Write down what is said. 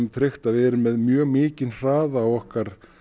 tryggt að við erum með mjög mikinn hraða á okkar